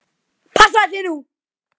Passaðu þig nú!